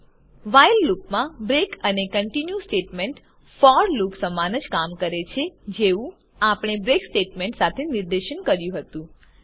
while લુપમાં break અને continue statement for loop સમાન જ કામ કરે છે જેવું આપણે બ્રેક સ્ટેટમેન્ટ સાથે નિદર્શન કર્યું હતું